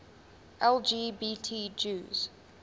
lgbt jews